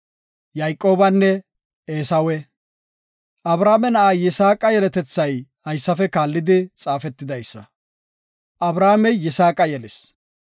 Abrahaame na7a Yisaaqa yeletethay haysafe kaallidi xaafetidaysa; Abrahaamey Yisaaqa yelis.